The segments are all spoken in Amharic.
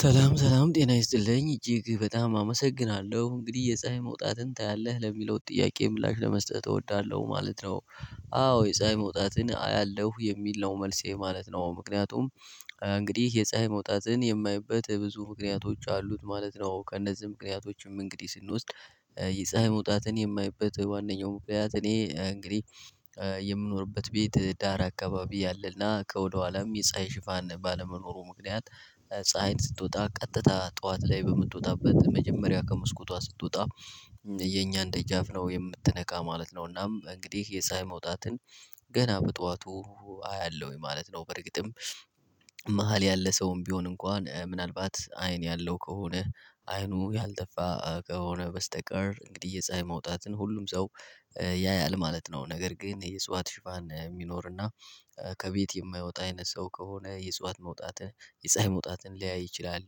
ሰላም ሰላም ጤና ይስጥልኝ እጅግ በጣም አመሰግናለሁ እንግዲህ የፀሀይ መውጣትን ታያለህ ለሚለው ጥያቄ ምላሽ ለመስጠት እወዳለሁ ማለት ነው። አዎ የፀሀይ መውጣትን አያለሁ የሚል ነው መልሴ ማለት ነው ምክንያቱም። እንግዲህ የፀሀይ መውጣትን የማይበት ብዙ ምክንያቶች አሉት ማለት ነው ከእነዚህ ምክንያቶችም እንግዲህ ስንወስድ። የፀሀይ መውጣትን የማይበት ዋናው ምክንያት እኔ እንግዲህ የምኖርበት ቤት ዳር አካባቢ አለና ከወደኋላም የፀሀይ ሽፋን ባለመኖሩ ምክንያት። ፀሀይን ስትወጣ ቀጥታ ጠዋት ላይ በምትወጣበት መጀመሪያ ከመስኮቷ ስትወጣ። የኛን ደጃፍ ነው የምትነካ ማለት ነው እናም እንግዲህ የሳይ መውጣትን። ገና በጠዋቱ አያለሁኝ ማለት ነው። በርግጥም መሃል ያለ ሰውም ቢሆን እንኳን ምናልባት አይን ያለው ከሆነ አይኑ ያልጠፋ ከሆነ በስተቀር እንግዲህ የፀሀይ መውጣትን ሁሉም ሰው ያያል ማለት ነው። ነገር ግን የእፅዋት ሽፋን እሚኖርና ከቤት የማይወጣ አይነት ሰው ከሆነ የእጽዋት መውጣትን የፀሀይ መውጣትን ላያይ ይችላል።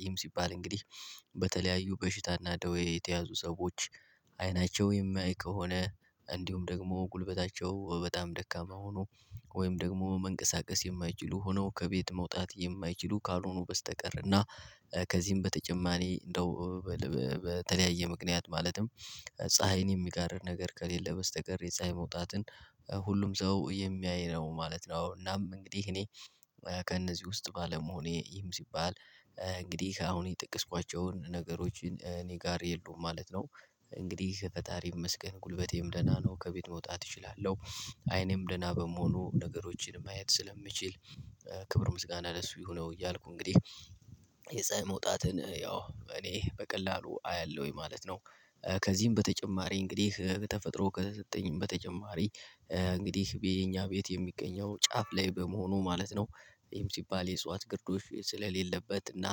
ይህም ሲባል እንግዲህ በተለያዩ በሽታና ደዌ የተያዙ ሰዎች አይናቸው የማያይ ከሆነ። እንዲሁም ደግሞ ጉልበታቸው በጣም ደካማ ሆኖ ወይም ደግሞ መንቀሳቀስ የማይችሉ ሆነው ከቤት መውጣት የማይችሉ ካልሆኑ በስተቀር። እና ከዚህም በተጨማሪ እንደው በተለያየ ምክንያት ማለትም ፀሀይን የሚጋርድ ነገር ከሌለ በስተቀር የፀሀይ መውጣትን። ሁሉም ሰው የሚያይ ነው ማለት ነው እናም እንግዲህ እኔ ከእነዚህ ውስጥ ባለመሆኔ ይህም ሲባል እንግዲህ አሁን የጠቀስኳቸውን ነገሮች እኔ ጋር የሉም ማለት ነው። እንግዲህ ፈጣሪ ይመስገን ጉልበቴም ደህና ነው ከቤት መውጣት እችላለሁ። አይኔም ደህና በመሆኑ ነገሮችን ማየት ስለምችል ክብር ምስጋና እሱ ይሁነው እያልኩ እንግዲህ የፀሀይ መውጣትን ያው እኔ በቀላሉ አያለሁኝ ማለት ነው። ከዚህም በተጨማሪ እንግዲህ ከተፈጥሮ ከተሰጠኝም በተጨማሪ እንግዲህ በየኛ ቤት የሚገኘው ጫፍ ላይ በመሆኑ ማለት ነው። ይሄም ሲባል የእጽዋት ግርዶች ስለሌለበት እና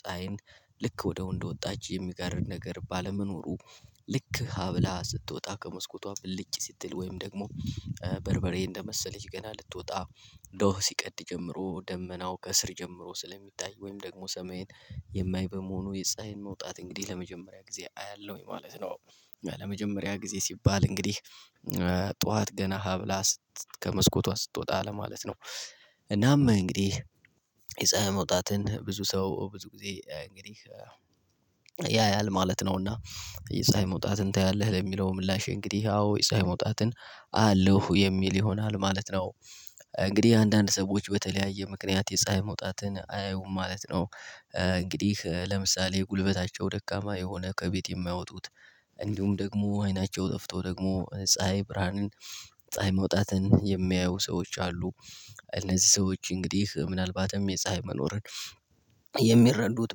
ፀሀይን ልክ ወዳው እንደወጣች የሚጋርድ ነገር ባለመኖሩ ልክ ሀ ብላ ስትወጣ ከመስኮቷ ብልጭ ስትል ወይም ደግሞ በርበሬ እንደመሰለች ገና ልትወጣ ዶህ ሲቀድ ጀምሮ ደመናው ከስር ጀምሮ ስለሚታይ ወይም ደግሞ ሰማይን የማይ በመሆኑ የፀሀይን መውጣት እንግዲህ ለመጀመሪያ ጊዜ አያለሁኝ ማለት ነው። ለመጀመሪያ ጊዜ ሲባል እንግዲህ ጠዋት ገና ሀብላ ስት ከመስኮቷ ስትወጣ ለማለት ነው። እናም እንግዲህ የፀሀይ መውጣትን ብዙ ሰው ብዙ ጊዜ እንግዲህ ያያል ማለት ነው። እና የፀሀይ መውጣትን ታያለህ? ለሚለው ምላሽ እንግዲህ አው የፀሀይ መውጣትን አያለሁ የሚል ይሆናል ማለት ነው። እንግዲህ አንዳንድ ሰዎች በተለያየ ምክንያት የፀሀይ መውጣትን አያዩም ማለት ነው። እንግዲህ ለምሳሌ ጉልበታቸው ደካማ የሆነ ከቤት የማይወጡት እንዲሁም ደግሞ አይናቸው ጠፍቶ ደግሞ ፀሀይ ብርሃንን ፀሀይ መውጣትን የማያዩ ሰዎች አሉ። እነዚህ ሰዎች እንግዲህ ምናልባትም የፀሀይ መኖርን የሚረዱት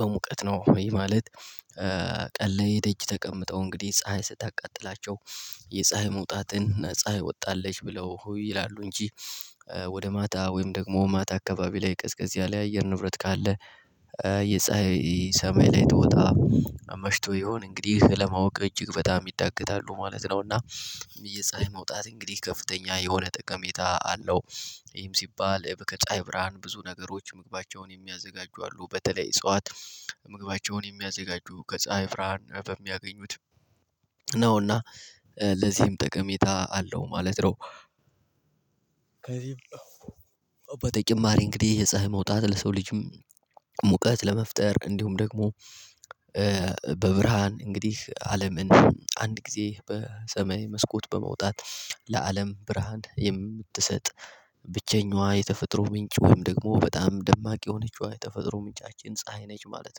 በሙቀት ነው ወይ ማለት? ቀን ላይ እደጅ ተቀምጠው እንግዲህ ፀሀይ ስታቃጥላቸው የፀሀይ መውጣትን ፀሀይ ወጣለች ብለው ይላሉ እንጂ ወደ ማታ ወይም ደግሞ ማታ አካባቢ ላይ ቀዝቀዝ ያለ የአየር ንብረት ካለ። የፀሀይ ሰማይ ላይ ትወጣ መሽቶ ይሆን እንግዲህ ለማወቅ እጅግ በጣም ይዳገታሉ ማለት ነው። እና የፀሀይ መውጣት እንግዲህ ከፍተኛ የሆነ ጠቀሜታ አለው። ይህም ሲባል ከፀሀይ ብርሃን ብዙ ነገሮች ምግባቸውን የሚያዘጋጁ አሉ በተለይ እጽዋት ምግባቸውን የሚያዘጋጁ ከፀሀይ ብርሃን በሚያገኙት ነው እና ለዚህም ጠቀሜታ አለው ማለት ነው። በተጨማሪ እንግዲህ የፀሀይ መውጣት ለሰው ልጅም ሙቀት ለመፍጠር እንዲሁም ደግሞ በብርሃን እንግዲህ አለምን አንድ ጊዜ በሰማይ መስኮት በመውጣት ለአለም ብርሃን የምትሰጥ ብቸኛዋ የተፈጥሮ ምንጭ ወይም ደግሞ በጣም ደማቅ የሆነችዋ የተፈጥሮ ምንጫችን ፀሀይ ነች ማለት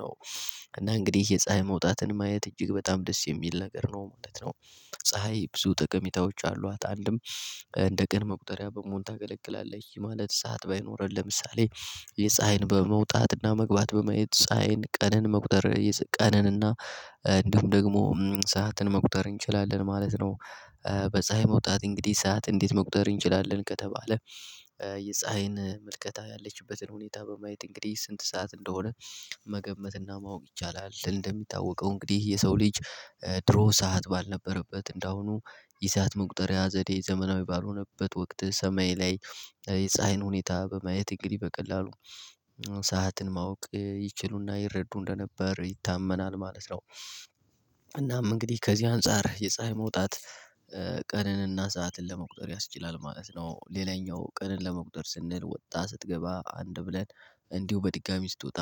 ነው። እና እንግዲህ የፀሀይ መውጣትን ማየት እጅግ በጣም ደስ የሚል ነገር ነው ማለት ነው። ፀሀይ ብዙ ጠቀሜታዎች አሏት። አንድም እንደ ቀን መቁጠሪያ በመሆን ታገለግላለች ማለት ሰዓት ባይኖረን ለምሳሌ የፀሀይን በመውጣትና መግባት በማየት ፀሀይን ቀነን መቁጠር ቀንንና እንዲሁም ደግሞ ሰዓትን መቁጠር እንችላለን ማለት ነው። በፀሀይ መውጣት እንግዲህ ሰዓት እንዴት መቁጠር እንችላለን ከተባለ? የፀሀይን ምልከታ ያለችበትን ሁኔታ በማየት እንግዲህ ስንት ሰዓት እንደሆነ መገመትና ማወቅ ይቻላል። እንደሚታወቀው እንግዲህ የሰው ልጅ ድሮ ሰዓት ባልነበረበት እንዳሁኑ የሰዓት መቁጠሪያ ዘዴ ዘመናዊ ባልሆነበት ወቅት ሰማይ ላይ የፀሀይን ሁኔታ በማየት እንግዲህ በቀላሉ ሰዓትን ማወቅ ይችሉና ይረዱ እንደነበር ይታመናል ማለት ነው። እናም እንግዲህ ከዚህ አንፃር የፀሀይ መውጣት ቀንንና ሰዓትን ለመቁጠር ያስችላል ማለት ነው። ሌላኛው ቀንን ለመቁጠር ስንል ወጣ ስትገባ አንድ ብለን እንዲሁ በድጋሚ ስትወጣ